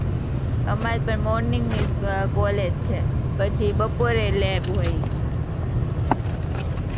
અમારે પણ morning ની college છે, પછી બપોરે lab હોય.